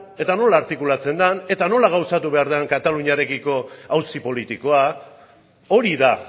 eta nola artikulatzen den eta nola gauzatu behar den kataluniarekiko auzi politikoa hori da